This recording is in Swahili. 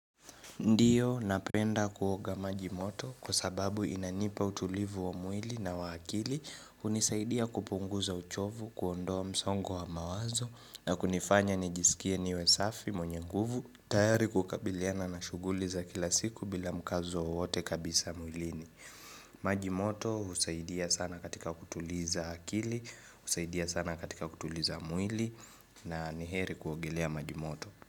Ndio napenda kuoga maji moto kwa sababu inanipa utulivu wa mwili na wa akili hunisaidia kupunguza uchovu, kuondoa msongo wa mawazo na kunifanya nijisikie niwe safi mwenye nguvu tayari kukabiliana na shughuli za kila siku bila mkazo wowote kabisa mwilini maji moto husaidia sana katika kutuliza akili, husaidia sana katika kutuliza mwili na ni heri kuogelea maji moto.